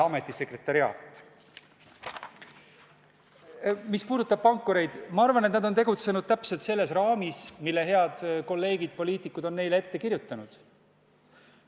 Mis puudutab pankureid, siis ma arvan, et nad on tegutsenud täpselt selles raamis, mille head kolleegid poliitikud on neile ette kirjutanud.